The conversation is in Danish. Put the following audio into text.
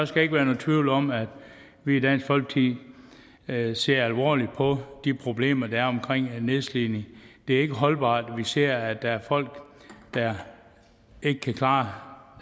skal ikke være nogen tvivl om at vi i dansk folkeparti ser ser alvorligt på de problemer der er omkring nedslidning det er ikke holdbart når vi ser at der er folk der ikke kan klare